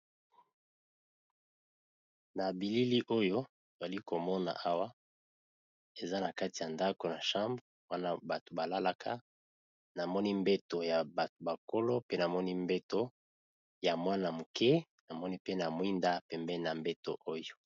Na bilili oyo toza komona awa eza na kati ya ndako, na chambre wana bato balalaka na moni mbeto ya bakolo pe namoni mbeto ya mwana moke namoni pe na mwinda pembe na mbeto .